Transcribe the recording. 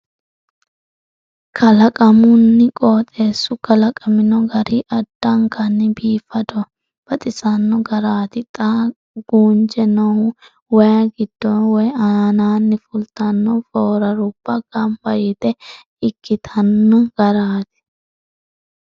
Kalaqamunn qooxeessu kalaqamino gari addankanni biifadonn baxisanno garaati xa guunje noohu waayi giddonni woy aaninni fultanno furarubba gamba yite ikkitino garaati.